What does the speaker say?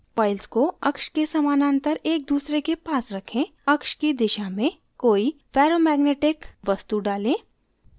coils को अक्ष के समानांतर एक दूसरे के पास रखें axis की दिशा में कोई ferromagnetic लौहचुम्बकीय वस्तु डालें